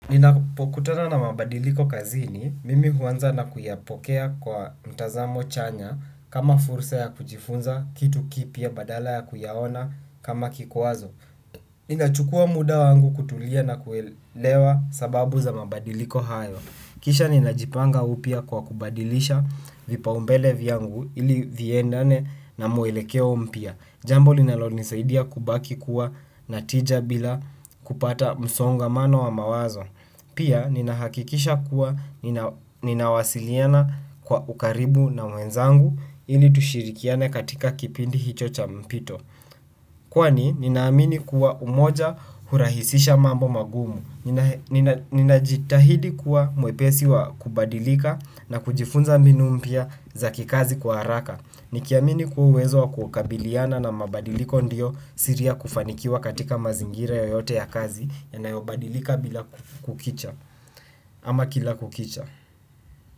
Ninapokutana na mabadiliko kazini, mimi huanza na kuyapokea kwa mtazamo chanya kama fursa ya kujifunza kitu kipya badala ya kuyaona kama kikwazo. Ninachukua muda wangu kutulia na kuelewa sababu za mabadiliko hayo. Kisha ninajipanga upya kwa kubadilisha vipaumbele vyangu ili viendane na muelekeo mpya. Jambo linalo nisaidia kubaki kuwa natija bila kupata msongamano wa mawazo. Pia, ninahakikisha kuwa ninawasiliana kwa ukaribu na wenzangu ili tushirikiane katika kipindi hicho cha mpito. Kwani, ninahamini kuwa umoja hurahisisha mambo magumu. Ninajitahidi kuwa mwepesi wa kubadilika na kujifunza mbinu mpya za kikazi kwa haraka. Nikiamini kuwezo wa kukabiliana na mabadiliko ndio siri ya kufanikiwa katika mazingira yoyote ya kazi ya na yobadilika bila kukicha. Ama kila kukicha.